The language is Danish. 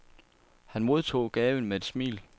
Han modtog gaven med et smil.